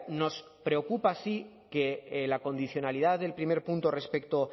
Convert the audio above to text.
nos preocupa sí que la condicionalidad del primer punto respecto